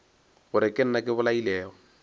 gore ke nna ke bolailego